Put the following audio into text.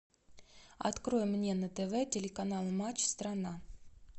открой мне на тв телеканал матч страна